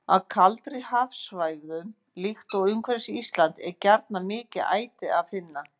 Á kaldari hafsvæðum, líkt og umhverfis Ísland, er gjarnan mikið æti að finna.